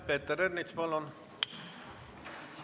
Peeter Ernits, palun!